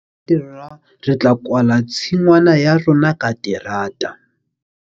Re tla kwala tshingwana ya rona ka terata.